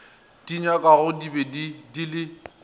di nyakwagodi be di le